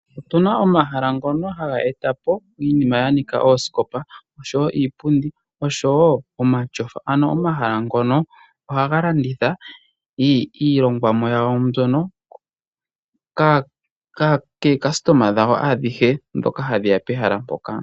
Otuna omahala ngono haga etapo iinima yanika oosikopa, oshowo iipundi, nomatyofa. Omahala ngono ohaga landitha iilongwamo yawo mbyono, kaalandi yawo ayehe mboka, hayeya pehala mpoka.